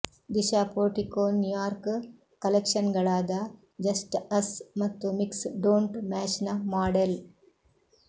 Disha Portico New York ಕಲೆಕ್ಷನ್ಗಳಾದ just us ಮತ್ತು mix don't ಮ್ಯಾಚ್ನ ಮಾಡೆಲ್